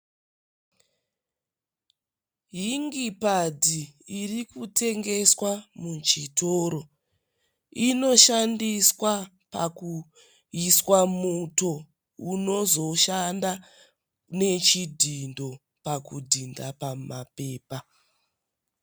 Ingi padhi irikutengeswa muchitoro. Inoshandiswa pakuiswa muto unozoshanda nechidhindo pakudhinda pamapepa.